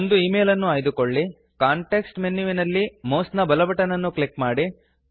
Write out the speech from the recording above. ಒಂದು ಈಮೇಲ್ ಅನ್ನು ಆಯ್ದುಕೊಳ್ಳಿ ಕಾಂಟೆಕ್ಸ್ಟ್ ಮೆನುವಿನಲ್ಲಿ ಮೌಸ್ ನ ಬಲ ಬಟನ್ ಅನ್ನು ಕ್ಲಿಕ್ ಮಾಡಿ